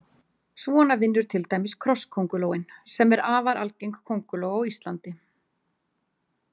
Svona vinnur til dæmis krosskóngulóin sem er afar algeng kónguló á Íslandi.